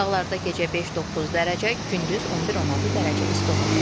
Dağlarda gecə 5-9 dərəcə, gündüz 11-16 dərəcə isti olacaq.